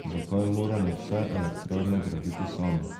Zakaj moramo vse elektrarne graditi sami?